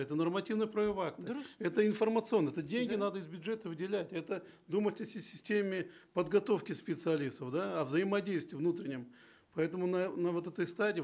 это нормативно правовые акты дұрыс это информационно это деньги надо из бюджета выделять это думать о системе подготовки специалистов да о взаимодействии внутреннем поэтому на вот этой стадии